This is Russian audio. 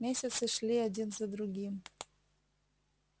месяцы шли один за другим